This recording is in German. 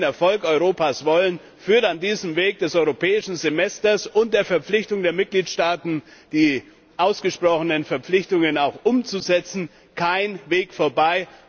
Wenn wir den Erfolg Europas wollen, führt an diesem Weg des Europäischen Semesters und der Verpflichtung der Mitgliedstaaten, die eingegangenen Verpflichtungen auch umzusetzen, kein Weg vorbei.